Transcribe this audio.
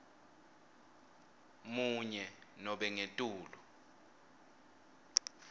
munye nobe ngetulu